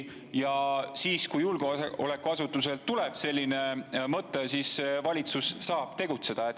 Ja kui julgeolekuasutusel tuleb selline mõte, siis valitsus saab tegutseda.